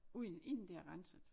Uden inden det er renset